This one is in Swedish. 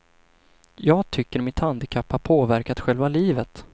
Jag tycker mitt handikapp har påverkat själva livet.